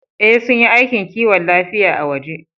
Ee, sun yi aikin kiwon lafiya a waje